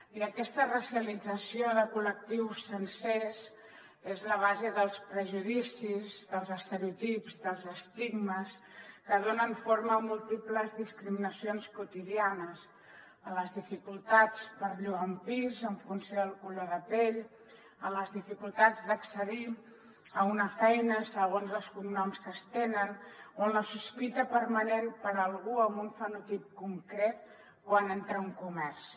i aquesta racialització de col·lectius sencers és la base dels prejudicis dels estereotips dels estigmes que donen forma a múltiples discriminacions quotidianes en les dificultats per llogar un pis en funció del color de pell en les dificultats d’accedir a una feina segons els cognoms que es tenen o en la sospita permanent per a algú amb un fenotip concret quan entra a un comerç